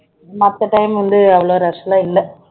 மத்த time ல வந்து அவ்ளோ rush எல்லாம் இல்ல